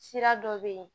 Sira dɔ bɛ yen